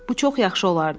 Bu çox yaxşı olardı.